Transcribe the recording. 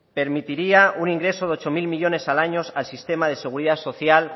permitiría un ingreso de ocho mil millónes al año al sistema de seguridad social